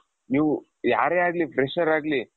ನೀವು ಯಾರೇ ಆಗಲಿ fresher ಆಗ್ಲಿ,